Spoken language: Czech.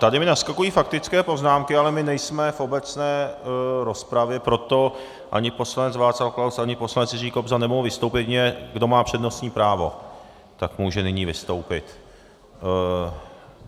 Tady mi naskakují faktické poznámky, ale my nejsme v obecné rozpravě, proto ani poslanec Václav Klaus, ani poslanec Jiří Kobza nemohou vystoupit, jedině kdo má přednostní právo, tak může nyní vystoupit.